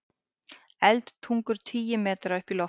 Eldtungur tugi metra upp í loft